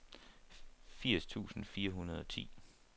firs tusind fire hundrede og ti